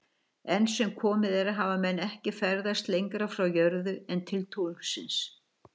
Enn sem komið er hafa menn ekki ferðast lengra frá jörðu en til tunglsins.